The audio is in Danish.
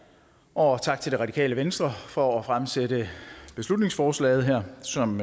og tak til det radikale venstre for at fremsætte beslutningsforslaget her som